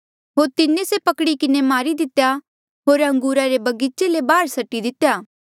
होर तिन्हें से पकड़ी किन्हें मारी दितेया होर अंगूरा रे बगीचे ले बाहर सट्टी दितेया